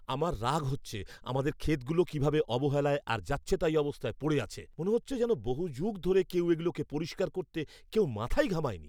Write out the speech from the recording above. আমার রাগ হচ্ছে আমাদের ক্ষেতগুলো কীভাবে অবহেলায় আর যাচ্ছেতাই অবস্থায় পড়ে আছে। মনে হচ্ছে যেন বহু যুগ ধরে কেউ এগুলোকে পরিষ্কার করতে কেউ মাথাই ঘামায়নি।